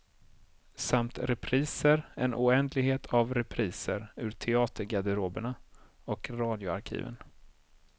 Samt repriser, en oändlighet av repriser ur teatergarderoberna och radioarkiven.